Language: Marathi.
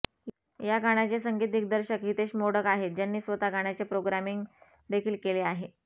या गाण्याचे संगीत दिग्दर्शक हितेश मोडक आहेत ज्यांनी स्वतः गाण्याचे प्रोग्रामिंग देखील केले आहे